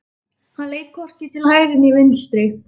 Hann leit hvorki til hægri né vinstri.